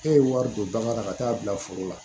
E ye wari don bagan na ka taa bila foro la